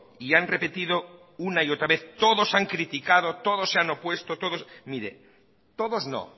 y han repetido una y otra vez todos han criticado todos se han opuesto mire todos no